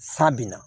Sa binna